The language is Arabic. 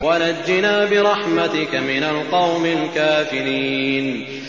وَنَجِّنَا بِرَحْمَتِكَ مِنَ الْقَوْمِ الْكَافِرِينَ